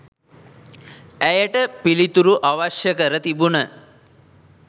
ඇයට පිළිතුරු අවශ්‍ය කර තිබුණ